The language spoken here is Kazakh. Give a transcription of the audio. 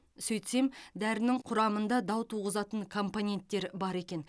сөйтсем дәрінің құрамында дау туғызатын компоненттер бар екен